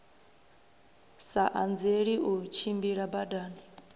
sa anzeli u tshimbila badani